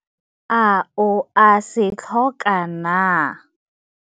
A o a se tlhoka naa?